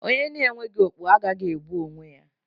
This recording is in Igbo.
Onye na-enweghi okpu agaghị egbu onwe ya.